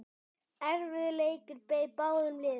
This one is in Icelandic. Erfiður leikur beið báðum liðum.